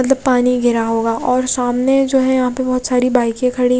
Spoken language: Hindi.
मतलब पानी गिरा होगा और सामने जो है यहाँ पे बाइक खड़ी--